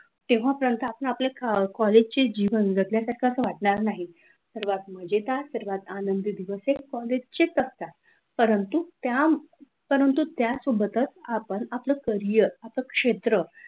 तेव्हापर्यंत आपण आपल्या कॉलेजचे जीवन जगण्यास जगण्यासारखे वाटणार नाही, सर्वात मजेदार सर्वात आनंदी दिवस हे कॉलेजचे असतात, परंतु त्यासोबतच आपण आपलं करियर आपल्या शेत्र,